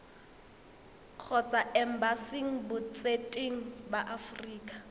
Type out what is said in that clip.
kgotsa embasing botseteng ba aforika